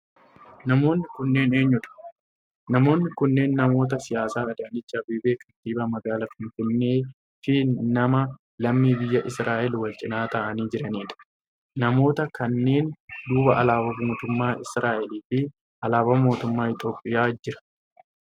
Namoonni kunneen eenyu dha? Namoonni kunneen namoota siyaasaa Adaanech Abeebee kantibaa magaalaa finfinnee fi nama lammii biyya Israa'el walcinaa ta'aanii jiranidha. Namoota kanneen duuba alaabaa mootummaa Israa'el fi alaabaan mootummaa Itiyoophiyaa jira